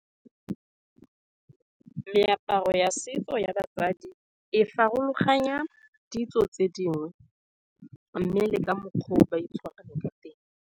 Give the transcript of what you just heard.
Meaparo ya setso ya basadi e farologanya ditso tse dingwe, mme le ka mokgwa o ba itshwarang ka teng.